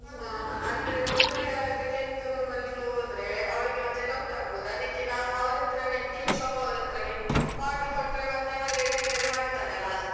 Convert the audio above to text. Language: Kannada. ಅಂದ್ರೆ ಒಬ್ಬರೆ ಯಾರಾದ್ರು ಕೇಕ್ ತಗೊಂಡ್ ಬರ್ಲಿಕ್ಕೆ ಹೋದ್ರೆ ಅವಳಿಗೆ ಮತ್ತೆ doubt ಆಗ್ಬೋದು ಅದಿಕ್ಕೆ ನಾವು ಅವರತ್ರನೆ cake shop ಅವರತ್ರನೆ ಆಡ್ರ್ order ಮತ್ತೆ ಅವರೆ ಡೆಲಿವರಿ ಮಾಡ್ತಾರಲ್ಲ.